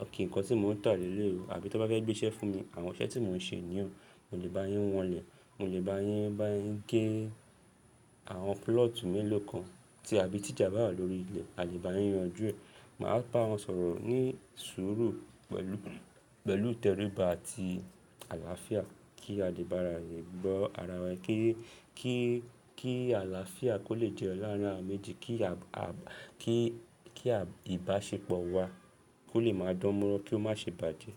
okay nǹkan tí mò ń tà lé lé o. Àbí tí wọ́n bá fẹ́ gbé iṣẹ́ fún mi, àwọn iṣẹ́ tí mò ń ṣe nìyii ooo. Mo lè bá yín wọn lè. Mo lè bá yín bá yín gé àwọn púlọ̀tù mélòó kan tí àbí tíjà bá wà lórí ilẹ̀, a lè bá yín yanjú ẹ̀. Màá bá wọn sọ̀rọ̀ ní sùúrù pẹ̀lú, pẹ̀lú ìtẹríba àti àlàáfíà kí a lè bá ara wa gbọ́ ara wa. Kí, kí, kí àlàáfíà kó lè jẹ́yo larin awa méjì. Kí, kí, kí ìbáṣepọ̀ wa kó lè máa dán mọ́rán kí ó má ṣe bàjẹ́